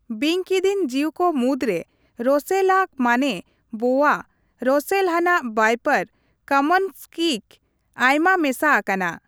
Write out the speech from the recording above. ᱵᱤᱧᱠᱤᱫᱤᱧ ᱡᱤᱣᱠᱚ ᱢᱩᱫᱽ ᱨᱮ ᱨᱚᱥᱮᱞ ᱞᱟᱜ ᱢᱟᱱᱮ ᱵᱳᱣᱟ, ᱨᱚᱥᱮᱞ ᱨᱟᱱᱟᱜ ᱣᱟᱤᱯᱚᱨ, ᱠᱟᱢᱚᱱ ᱥᱠᱤᱠ ᱟᱭᱢᱟ ᱢᱮᱥᱟ ᱟᱠᱟᱱᱟ ᱾